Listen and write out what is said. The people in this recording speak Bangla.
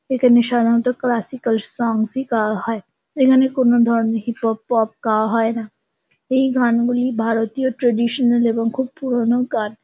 এখানে সাধারণত ক্লাসিকাল সংস -ই গাওয়া হয়। এখানে কোনো ধরণে হিপ হপ পপ গাওয়া হয় না। এই গানগুলি ভারতীয় ট্র্যাডিশনাল এবং খুব পুরোনো গান।